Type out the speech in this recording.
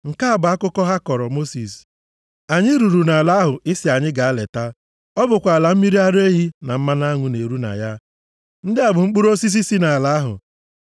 Nke a bụ akụkọ ha kọọrọ Mosis, “Anyị ruru nʼala ahụ ị sị anyị gaa leta. Ọ bụkwa ala mmiri ara ehi na mmanụ aṅụ na-eru na ya. Ndị a bụ mkpụrụ osisi si nʼala ahụ.